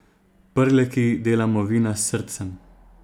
Prleki delamo vina s srcem.